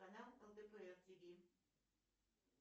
канал лдпр тв